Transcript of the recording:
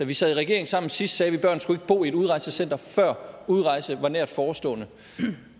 vi sad i regering sammen sidst sagde vi at børn ikke skulle bo i et udrejsecenter før udrejsen var nært forestående